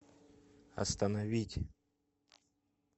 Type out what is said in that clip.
остановить